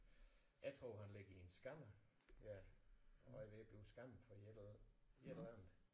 Jeg tror han ligger i en scanner ja og er ved at blive scannet for et eller et eller andet